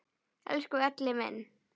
Elsku Elli minn!